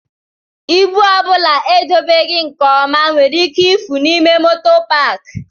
Ịbụ ọ bụla edobeghi nke ọma nwere ike ifu n'ime moto paaki.